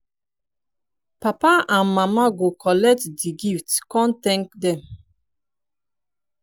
papa and mama go kollet di gifts kon thank dem